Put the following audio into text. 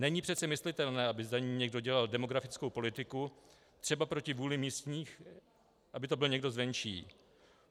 Není přece myslitelné, aby za ni někdo dělal demografickou politiku třeba proti vůli místních, aby to byl někdo zvenčí.